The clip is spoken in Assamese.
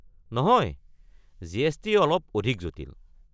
নহয়, জি.এছ.টি. অলপ অধিক জটিল।